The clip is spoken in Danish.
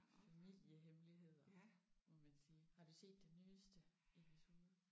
Familiehemmeligheder må man sige. Har du set den nyeste episode?